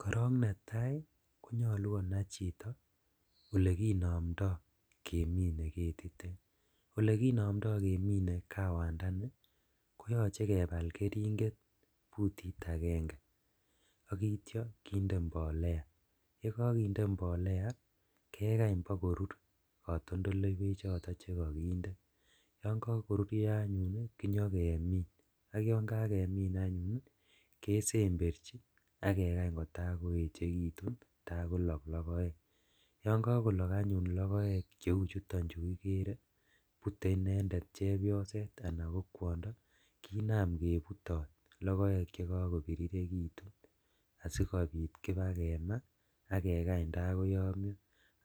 Korong netaa koyoche konai chito elekinomdo kemine ketitet olekinomdo kemine kawandani koyoche kebal keringet butit agenge ak ityo kinde mbolea yokokinde mbolea kekany bokorur kotondoleiwechoton chekokinde, yon kokorurio anyun kenyokemin ak yon kakemin anyun kesemberji ak kekany kotaa koechekitun taa kolok logoek, yon kokolok anyun logoek cheuchuton chu kikere bute inendet chebyoset ana ko kwondo kinam kebutot logoek chekokobirirekitu asikobit kibaa kemaa ak kekany taa koyomio